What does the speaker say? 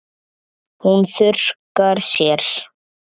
Hún þurrkar sér.